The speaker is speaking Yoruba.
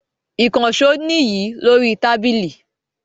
Ikànsó ni yi lórí tábìlì